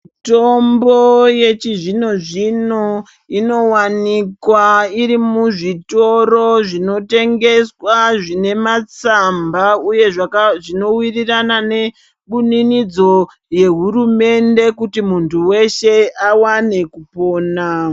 Mitombo yechizvino-zvino inovanikwa iri muzvitoro zvinotengeswa zvine matsamba. uye zvinovirirana nebuninidzo yehurumende kuti muntu veshe avane kupona.